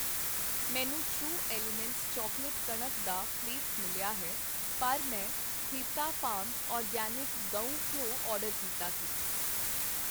ਮੈਨੂੰ true elements chocolate ਕਣਕ ਦਾ ਫ਼ਲੇਕਸ ਮਿਲਿਆ ਹੈ ਪਰ ਮੈਂ ਹਿਤਾ ਫਾਰਮਜ਼ ਆਰਗੈਨਿਕ ਗਊ ਘਿਓ ਆਰਡਰ ਕੀਤਾ ਸੀ ।